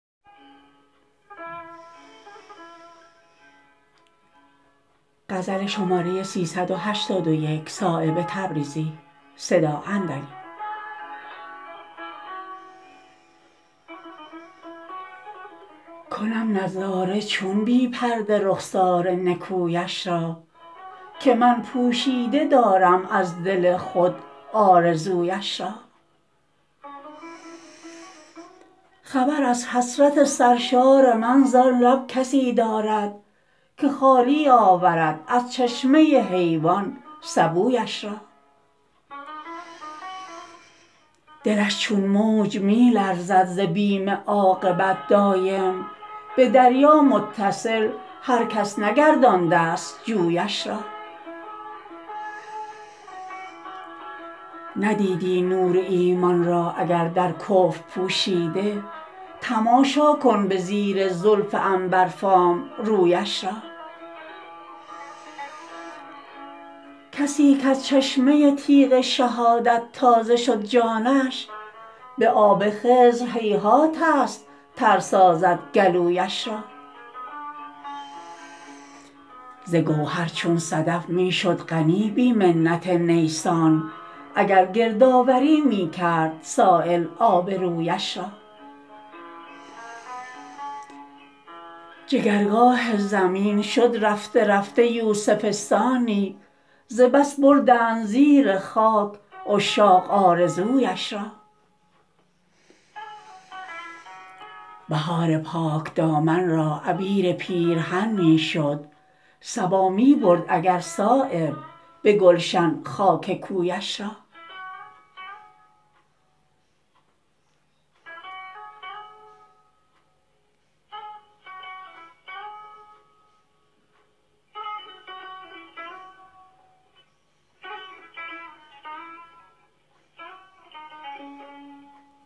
کنم نظاره چون بی پرده رخسار نکویش را که من پوشیده دارم از دل خود آرزویش را خبر از حسرت سرشار من زان لب کسی دارد که خالی آورد از چشمه حیوان سبویش را دلش چون موج می لرزد ز بیم عاقبت دایم به دریا متصل هر کس نگردانده است جویش را ندیدی نور ایمان را اگر در کفر پوشیده تماشا کن به زیر زلف عنبرفام رویش را کسی کز چشمه تیغ شهادت تازه شد جانش به آب خضر هیهات است تر سازد گلویش را ز گوهر چون صدف می شد غنی بی منت نیسان اگر گردآوری می کرد سایل آبرویش را جگرگاه زمین شد رفته رفته یوسفستانی ز بس بردند زیر خاک عشاق آرزویش را بهار پاکدامن را عبیر پیرهن می شد صبا می برد اگر صایب به گلشن خاک کویش را